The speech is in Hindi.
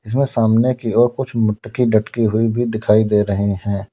इसमें सामने की और कुछ मटकी लटकी हुई भी दिखाई दे रहे हैं।